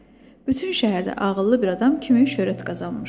Bütün şəhərdə ağıllı bir adam kimi şöhrət qazanmışdı.